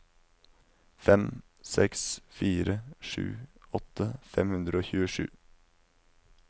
fem seks fire sju åtti fem hundre og tjuesju